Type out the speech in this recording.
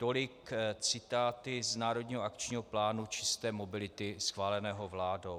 Tolik citáty z Národního akčního plánu čisté mobility schváleného vládou.